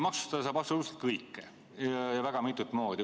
Maksustada saab aga absoluutselt kõike ja väga mitut moodi.